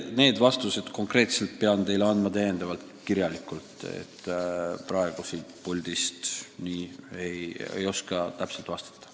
Need vastused pean ma teile kirjalikult esitama, praegu siit puldist ei oska täpselt vastata.